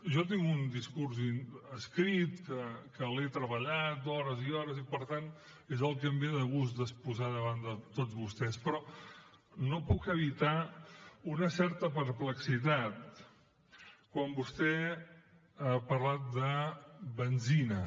jo tinc un discurs escrit que l’he treballat hores i hores i per tant és el que em ve de gust d’exposar davant de tots vostès però no puc evitar una certa perplexitat quan vostè ha parlat de benzina